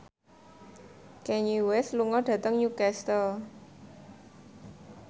Kanye West lunga dhateng Newcastle